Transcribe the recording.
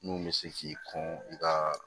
Mun bɛ se k'i kun i ka